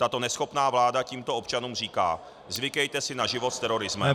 Tato neschopná vláda tímto občanům říká: Zvykejte si na život s terorismem.